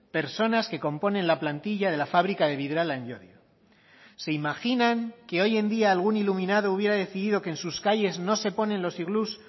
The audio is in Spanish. personas que componen la plantilla de la fábrica de vidrala en llodio se imaginan que hoy en día algún iluminado hubiera decidido que en sus calles no se ponen los iglús